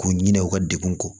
K'u ɲina u ka degun kɔ